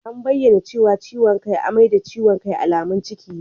An bayyana cewa ciwon kai, amai da ciwon kai alamun ciki ne.